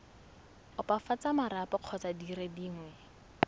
opafatsa marapo kgotsa dire dingwe